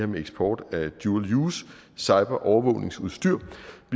med eksport af dual use cyberovervågningsudstyr